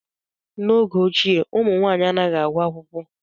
N'oge ochie, ụmụ nwaanyị anaghị agụ akwụkwọ.